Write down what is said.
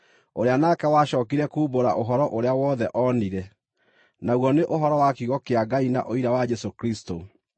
ũrĩa nake wacookire kumbũra ũhoro ũrĩa wothe oonire, naguo nĩ ũhoro wa kiugo kĩa Ngai na ũira wa Jesũ Kristũ.